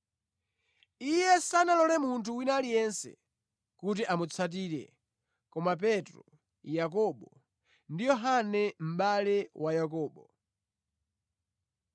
Iye sanalole munthu wina aliyense kuti amutsatire koma Petro, Yakobo ndi Yohane mʼbale wa Yakobo.